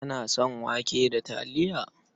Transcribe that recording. Kana son wake da taliya?